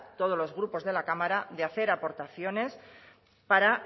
todos los grupos de la cámara de hacer aportaciones para